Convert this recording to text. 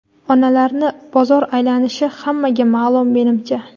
Onalarni bozor aylanishi hammaga maʼlum menimcha.